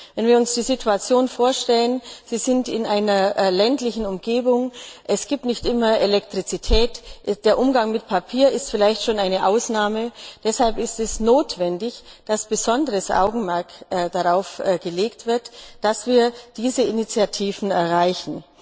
Wenn wir uns die Situation vorstellen eine ländliche Umgebung, es gibt nicht immer Elektrizität, der Umgang mit Papier ist vielleicht schon eine Ausnahme deshalb ist es notwendig, dass besonderes Augenmerk darauf gelegt wird, dass wir diese Initiativen erreichen.